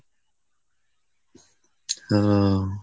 ও।